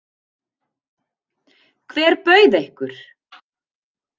Hver bauð ykkur?